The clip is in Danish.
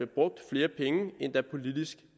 brugt flere penge end der politisk